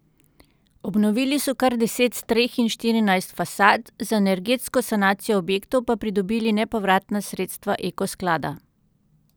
Obnovili so kar deset streh in štirinajst fasad, za energetsko sanacijo objektov pa pridobili nepovratna sredstva Eko sklada.